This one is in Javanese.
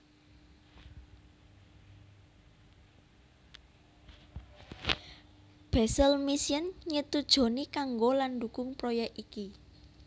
Basel Mission nyetujoni kanggo lan ndukung proyek iki